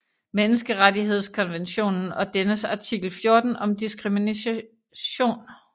Menneskerettighedskonventionen og dennes artikel 14 om diskrimination